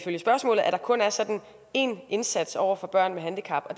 der kun er én indsats over for børn med handicap